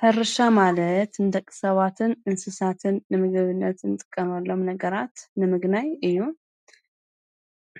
ሕርሻ ማለት ንተቕሰዋትን እንስሳትን ንምገብነትን ጥቀመሎም ነገራት ንምግናይ እዩ።